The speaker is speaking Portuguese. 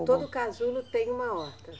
Todo casulo tem uma horta?